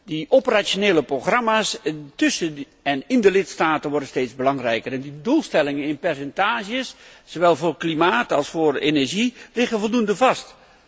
De operationele programma's tussen en in de lidstaten worden steeds belangrijker. De doelstellingen in percentages, zowel voor klimaat als voor energie, liggen voldoende vast.